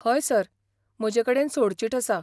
हय सर, म्हजे कडेन सोडचिट आसा.